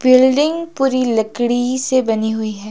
Building पूरी लकड़ी से बनी हुई है।